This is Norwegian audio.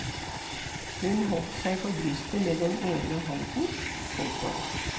Hun holdt seg for brystet med den ene hånden. punktum